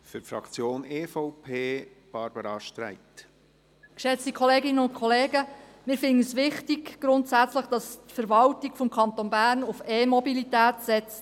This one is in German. Wir finden es grundsätzlich wichtig, dass die Verwaltung des Kantons Bern auf E-Mobilität setzt.